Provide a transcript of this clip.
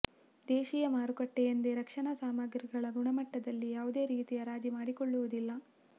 ದೇಶೀಯ ಮಾರುಕಟ್ಟೆಯೆಂದು ರಕ್ಷಣಾ ಸಾಮಗ್ರಿಗಳ ಗುಣಮಟ್ಟದಲ್ಲಿ ಯಾವುದೇ ರೀತಿಯ ರಾಜಿ ಮಾಡಿಕೊಳ್ಳುವುದಿಲ್ಲ